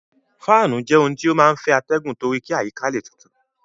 Fáànù jẹ́ ohun tí ó máa ń fẹ́ atẹgun torí kí àyíká le tutù.